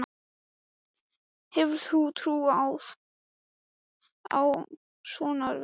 Hefur þú trú á að svo verði?